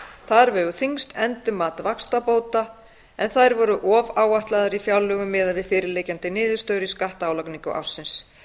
þar vegur þyngst endurmat vaxtabóta en þær voru ofáætlaðar í fjárlögum miðað við fyrirliggjandi niðurstöður í skattálagningu ársins